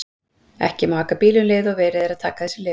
Ekki má aka bíl um leið og verið er að taka þessi lyf.